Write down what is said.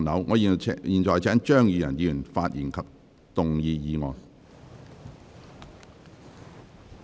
我現在請張宇人議員發言及動議議案。